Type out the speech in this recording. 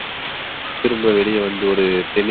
திரும்ப வெளிய வந்து ஒரு தேநீர்